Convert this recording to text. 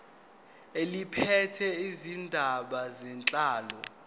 eliphethe izindaba zenhlalo